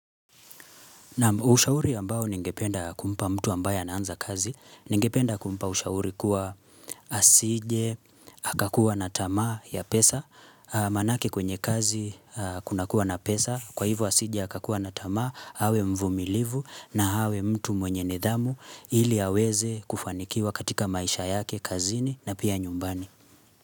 Naam ushauri ambao ningependa kumpa mtu ambaye anaanza kazi, ningependa kumpa ushauri kuwa asije, hakakuwa na tamaa ya pesa, maanake kwenye kazi kuna kuwa na pesa, kwa hivo asije hakakuwa na tamaa, awe mvumilivu na awe mtu mwenye nidhamu ili aweze kufanikiwa katika maisha yake, kazini na pia nyumbani.